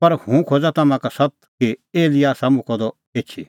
पर हुंह खोज़ा तम्हां का सत्त कि एलियाह आसा मुक्कअ द एछी